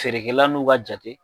Feerekɛlan n'u ka jate